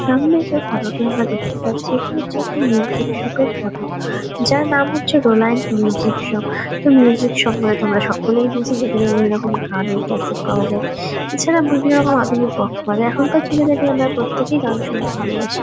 সামনে যে ফটো -টি আমরা দেখতে পাচ্ছি এটি হচ্ছে একটা মিউসিক শপ -র ফটো যার নাম হচ্ছে রোলান্ড মিউসিক শপ তো মিউসিক শপ মানে তোমরা সকলেই বুঝ যে এখানে বিভিন্ন গানের ক্যাসেট পাওয়া যাই এছাড়া বিভিন্ন রকমের আধুনিক বক্স বাজায় এখনকার যুগে আমরা প্রত্যেকেই গান শুনতে ভালবাসি।